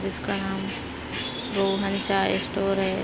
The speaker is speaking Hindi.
जिसका नाम रोहन चाय स्टोर है।